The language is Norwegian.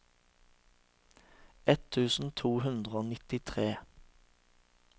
ett tusen to hundre og nittitre